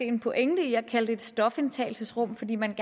en pointe i at kalde det for et stofindtagelsesrum fordi man